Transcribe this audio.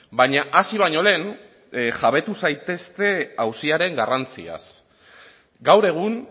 baina hasi baino lehen jabetu zaitezte auziaren garrantziaz gaur egun